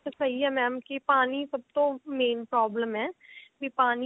ਸਹੀ ਹੈ mam ਕਿ ਪਾਣੀ ਸਭ ਤੋਂ main problem ਹੈ ਵੀ ਪਾਣੀ